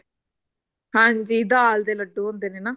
ਹਾਂਜੀ ਦਾਲ ਦੇ ਲੱਡੂ ਹੁੰਦੇ ਨੇ